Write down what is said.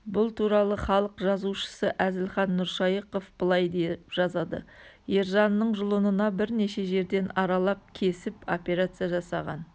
бұл туралы халық жазушысы әзілхан нұршайықов былай деп жазады ержанның жұлынына бірнеше жерден аралап кесіп операция жасаған